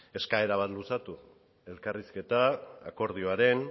eskaera bat luzatu elkarrizketa akordioaren